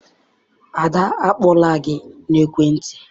Ada akpọọla gị n'ekwentị?